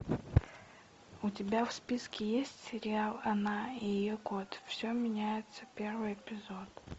у тебя в списке есть сериал она и ее кот все меняется первый эпизод